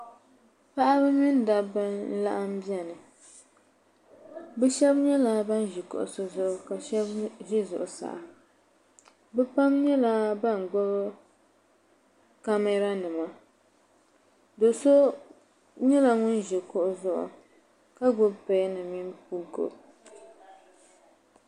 Paɣaba mini dabba n laɣim bɛni bi shɛba nyɛla bini zi kuɣusi zuɣu ka shɛba zi zuɣusaa bi pam nyɛla bini gbubi kamɛra nima do so nyɛla ŋuni zi kuɣu zuɣu ka gbubi pɛn mini buku